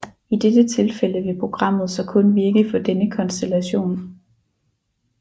I dette tilfælde vil programmet så kun virke for denne konstellation